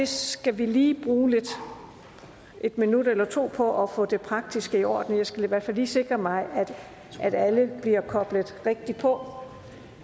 skal lige bruge en minut eller to på at få det praktiske i orden jeg skal i hvert fald lige sikre mig at alle bliver koblet rigtigt på